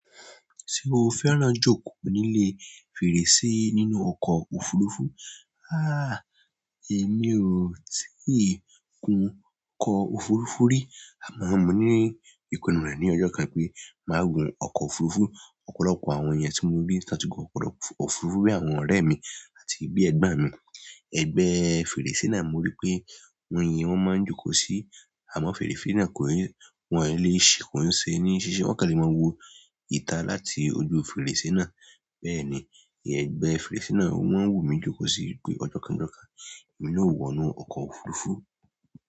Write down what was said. Ṣé o fẹ́ràn jókòó nílé fèrèsé nínú ọkọ̀ òfurufú? Há! Èmi ò tíì gun ọkọ̀ òfurufú rí. Àmọ́ mo ní ìpinnu rẹ̀ ní ọjọ́ kan pé màá gun ọkọ̀ òfurufú. Ọ̀pọ̀lọpọ̀ àwọn èèyàn tí mo rí tí wọ́n ti gun ọkọ̀ òfurufú bí àwọn ọ̀rẹ́ mi àti bí ẹgbọ́n mi. Ẹgbẹ́ fèrèsé náà mo rí pé wọ́n máa ń jókòó sí àmọ́ fèrèsé náà kò lè, wọ́n ó lè ṣi, kò ń ṣe ní ṣíṣí. Wọ́n kàn lè máa wo ìta láti ojú fèrèsé náà. Bẹ́ẹ̀ni, ẹ̀gbẹ́ fèrèsé náà ó máa ń wù mí jókòó sí i pé ọjọ́ kan náà, èmi náà yóò wọnú ọkọ̀ òfurufú.